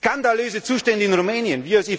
Skandalöse Zustände in Rumänien!